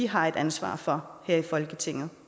har et ansvar for her i folketinget